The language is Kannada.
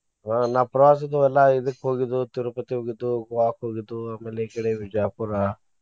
ಆಹ್ ನಾವ್ ಪ್ರವಾಸದು ಎಲ್ಲಾ ಇದಕ್ಕ್ ಹೋಗಿದ್ದು Tirupati ಹೋಗಿದ್ದು, Goa ಕ್ ಹೋಗಿದ್ದು ಆಮೇಲೆ ಈಕಡೆ Vijayapura .